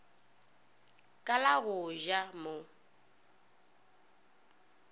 ka la go ja mo